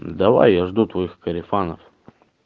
давай я жду твоих корефанов